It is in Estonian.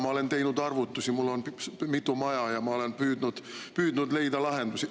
Ma olen teinud arvutusi, mul on mitu maja ja ma olen püüdnud leida lahendusi.